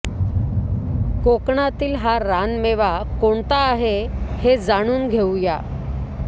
कोकणातील हा रानमेवा कोणता आहे हे जाणून घेऊया